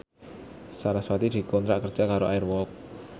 sarasvati dikontrak kerja karo Air Walk